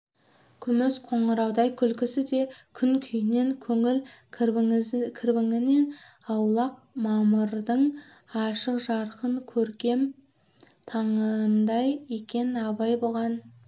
күміс қоңыраудай күлкісі де күн күйінен көңіл кірбіңінен аулақ мамырдың ашық-жарқын көктем таңындай екен абай бұған